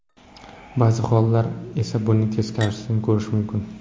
Ba’zi hollarda esa buning teskarisini ko‘rish mumkin.